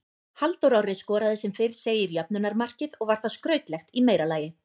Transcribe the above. Halldór Orri skoraði sem fyrr segir jöfnunarmarkið og var það skrautlegt í meira lagi.